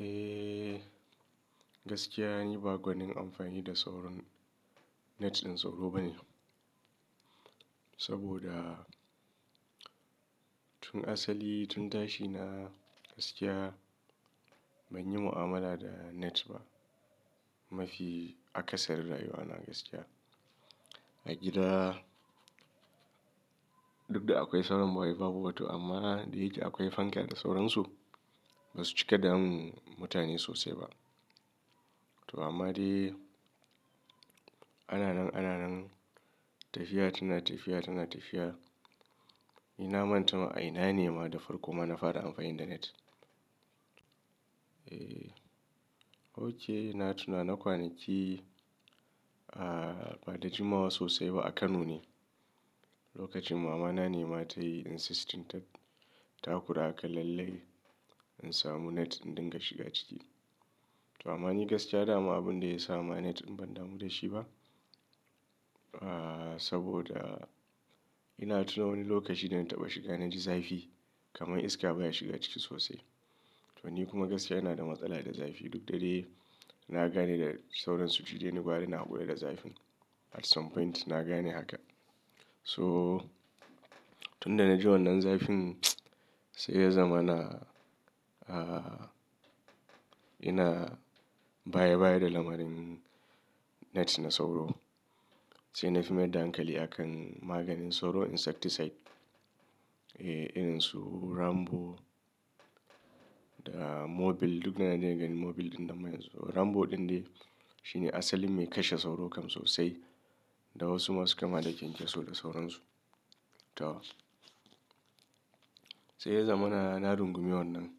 Eh, gaskiya ni ba gwanin amfani da sauran net ɗin sauro bane. Saboda tun asali, tun dashi na gaskiya banyi mu'amala da net ba. Mafi akasari rayuwa na gaskiya. A gida duk da akwai sauran ba wai babu ba to amma dai akwai fanke da sauransu. Ba su cika damu mutane sosai ba. To amma dai ana nan, ana nan tafiya tana tafiya, tana tafiya. Ni na manta ma a ina ne ma da farko ma na fara amfani da net. Eh, oke na tuna na kwanaki, ah, bada jimawa sosai ba a Kano ne. Lokacin mamana ne ma ta yi insistin ta, ta kura aka lallai in samu net in dinga shiga ciki. To amma ni gaskiya dama abun da ya sa ma net ban damu da shi ba. Ah, saboda ina tuna wani lokaci da na taɓa shiga na ji zafi kamar iska baya shiga ciki sosai. To ni kuma gaskiya ina da matsala da zafi. Duk da dai na gane da sauran suji dai na gwara na hakura da zafin. At some point na gane haka. So tun da na ji wannan zafin, sai ya zama na, ah, ina baya baya da lamarin net na sauro. Sai na fi mai dankali akan maganin sauro, insecticide. Eh, irin su Rambo da Mobil duk da na dena ganin Mobil ɗin da mai sauro. Rambo ɗin dai shi ne asalin mai kashe sauro kam sosai. Da wasu ma su kama da kyankyaso da sauransu. To sai ya zama na, na rungumi wannan.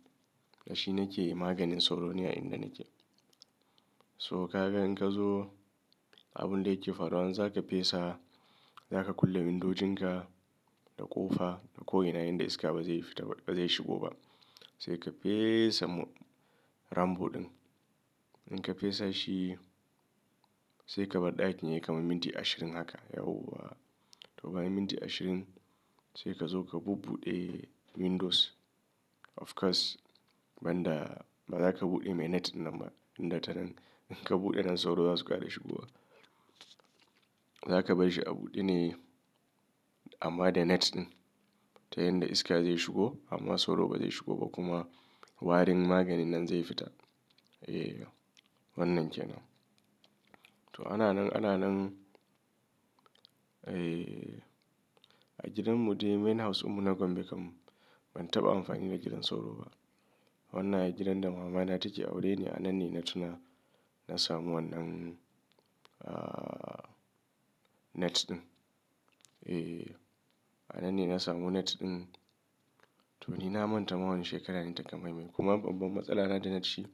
Da shi nake maganin sauro ne a inda nake. So ka ga in ka zo abun da yake faruwa, zaka fesa, zaka kulle windojin ka da ƙofa da ko ina inda iska bazai fita bazai shigo ba. Sai ka fesa Rambo ɗin. In ka fesa shi sai ka bar ɗakin yayi kama minti ashirin haka yauwa. To bayan minti ashirin sai ka zo ka bubbuɗe windows. Of course banda baza ka buɗe mai net nan ba. Inda ta nan in ka buɗe nan sauro zasu ƙara shigowa. Zaka basshi a buɗe ne amma da net ɗin. Ta yanda iska zai shigo amma sauro bazai shigo ba kuma warin maganin nan zai fita. Eh wannan ke nan. To ana nan, ana nan, eh a gidan mu dai main house dinmu na gombe kam. Ban taɓa amfani da gidan sauro ba. Wannan gidan da mamana take aure ne. A nan ne na tuna na samu wannan, ah, net ɗin. Eh, a nan ne na samu net ɗin. To ni na manta ma wannan shekara taka mai mai kuma babban matsala na da net shi.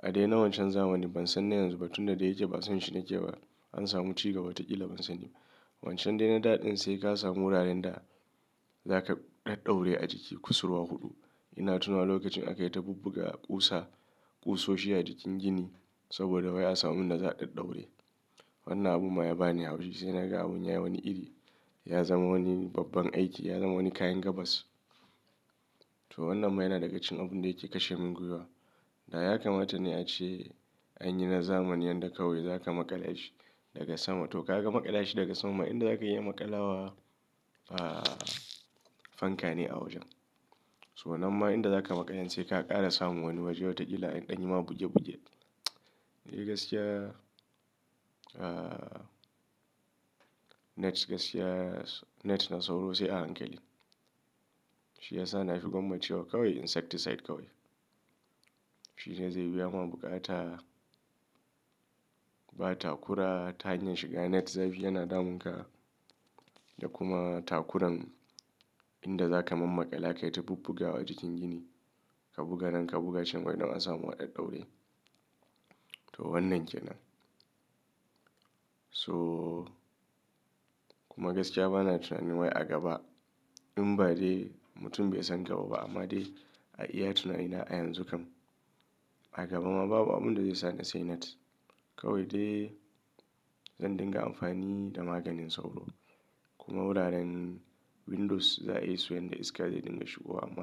A dai na wancan zamanin ban san na yanzu ba tun da ya yake basonshi nake ba an samu ci gaba wata ƙila ban sani ba. Wancan dai na da ɗin sai ka samu wuraren da zaka ɗaɗɗaure a jiki kusurwa huɗu. Ina tunawa lokacin aka yi ta bubbuga ƙusa, ƙusoshi a jikin gini saboda wai ya samu inda za a ɗaɗɗaura. Wannan abun ma ya bani haushi sai na ga abun ya yi wani iri. Ya zama wani babban aiki, ya zama wani kayan gabas. To wannan ma yana dagacin abun da yake kashe min gwiwa. Da ya kamata ne ace anyi na zamanin yadda kawai zaka maƙala shi daga sama. To ka ga maƙala shi daga sama inda zaka iya maƙalawa, ah, fanka ne a wajen. So nan ma inda zaka maƙala sai ka ƙara samu wani waje wata ƙila yanɗanya ma buge bugen. Eh gaskiya, ah, net gaskiya net na sauro sai a hankali. Shi ya sa na shigo nafi cewa gwamma cewa kawai insecticide kawai. Shi ne zai biya ma buƙata, ba takura ta hanyar shiga net zafi yana damun ka da kuma takuran inda zaka man maƙala ka yi ta bubbugawa a jikin gini. Ka buga nan ka buga can wai don a samu a ɗaɗaure. To wannan ke nan. So kuma gaskiya bana tunanin wai a gaba in ba dai mutum bai san gaba ba amma dai a iya tuna ina a yanzu kam. A gaba ma babu abun da zai sa na sai net. Kawai dai zan dinga amfani da maganin sauro. Kuma wuraren windows za a yi su yanda iska zai dinga shigowa amma.